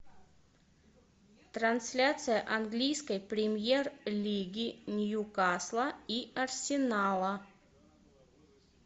трансляция английской премьер лиги ньюкасла и арсенала